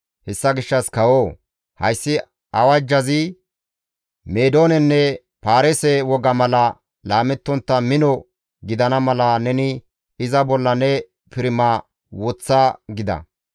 Hessa gishshas kawoo! Hayssi awajjazi Meedoonenne paarise woga mala laamettontta mino gidana mala neni iza bolla ne pirima woththa» gida.